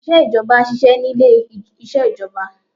Àwọn òṣìṣẹ́ ìjọba ṣiṣẹ́ ni ilé isẹ ìjọba